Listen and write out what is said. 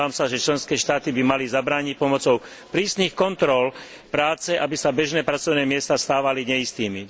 Domnievam sa, že členské štáty by mali zabrániť pomocou prísnych kontrol práce, aby sa bežné pracovné miesta stávali neistými.